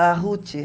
A Ruth.